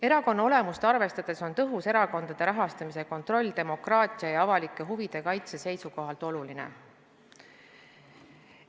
Erakonna olemust arvestades on tõhus erakondade rahastamise kontroll demokraatia ja avalike huvide kaitse seisukohalt oluline.